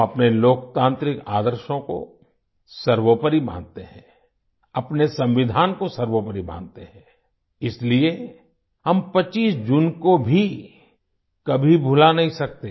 हम अपने लोकतांत्रिक आदर्शों को सर्वोपरि मानते हैं अपने संविधान को सर्वोपरि मानते हैं इसलिए हम 25 जून को भी कभी भुला नहीं सकते